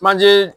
Manje